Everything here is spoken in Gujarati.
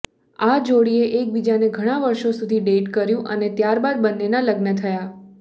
આ જોડીએ એકબીજાને ઘણાં વર્ષો સુધી ડેટ કર્યું અને ત્યારબાદ બંનેના લગ્ન થયા